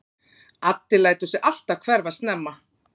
Addi lætur sig alltaf hverfa snemma.